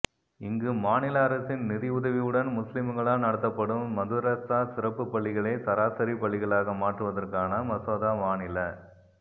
இங்கு மாநில அரசின் நிதியுதவியுடன் முஸ்லிம்களால் நடத்தப்படும் மதரசா சிறப்பு பள்ளிகளை சராசரி பள்ளிகளாக மாற்றுவதற்கான மசோதா மாநில